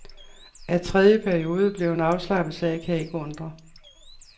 At tredje periode blev en afslappet sag, kan ikke undre.